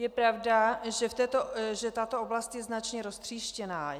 Je pravda, že tato oblast je značně roztříštěná.